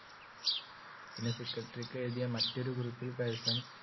പിന്നെ secretary ക്കു എഴുതിയ മറ്റൊരു കുറിപ്പിൽ കഴ്സൺ